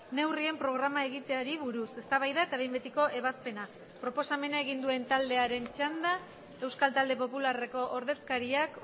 neurrien programa egiteari buruz eztabaida eta behin betiko ebazpena proposamena egin duen taldearen txanda euskal talde popularreko ordezkariak